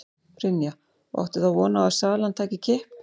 Brynja: Og áttu þá von á því að salan taki kipp?